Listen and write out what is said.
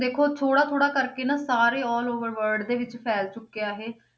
ਦੇਖੋ ਥੋੜ੍ਹਾ ਥੋੜ੍ਹਾ ਕਰਕੇ ਨਾ ਸਾਰੇ all over word ਦੇ ਵਿੱਚ ਫੈਲ ਚੁੱਕਿਆ ਇਹ ।